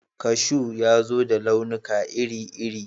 Kashu ya zo da launuka iri-iri